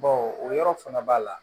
o yɔrɔ fana b'a la